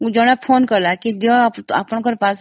phone ଆସିଥିଲା